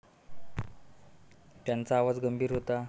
त्याचा आवाज गंभीर होता.